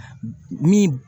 Min